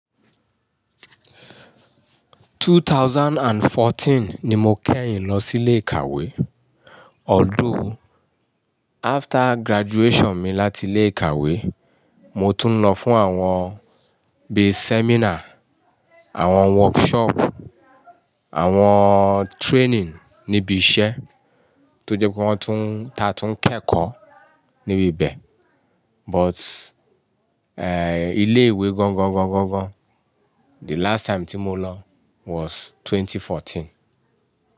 2014 ni mo kẹ́yìn lọ sí ilé ìkàwé. Although, after graduation mi láti ilé ìkàwé, mo tún ń lọ fún àwọn bíi seminar, àwọn workshop, àwọn training níbi iṣẹ́ tó jẹ́ pé wọ́n tún, ta tún ń kẹ́kọ̀ọ́ níbi ibẹ̀. But, ilé ìwé gọ́ńgọ́ńgọ́ńgọ́ńgọ́ńgọ́ń the last time tí mo lọ was 2014.